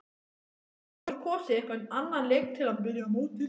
Hefði Þorvaldur kosið einhvern annan leik til að byrja mótið?